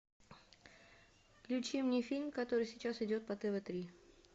включи мне фильм который сейчас идет по тв три